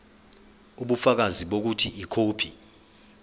ubufakazi bokuthi ikhophi